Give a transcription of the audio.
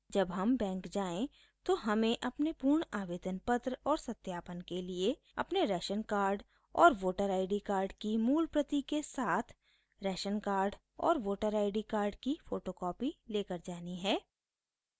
जब हम बैंक जाएँ तो हमें अपने पूर्ण आवेदन पत्र और सत्यापन के लिए अपने राशन कार्ड और वोटर id कार्ड की मूल प्रति के साथ राशन कार्ड और वोटर id कार्ड की फोटोकॉपी लेकर जानी है